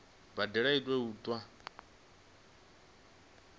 mbadelo i tea u itwa